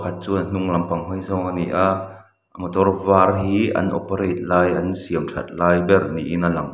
pakhat chuan hnung lampang hawi zawng a ni ah motor var hi an operate an siamthat lai ber niin a lang.